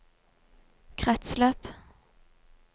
kretsløp